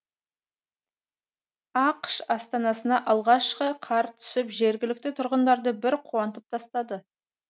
ақш астанасына алғашқы қар түсіп жергілікті тұрғындарды бір қуантып тастады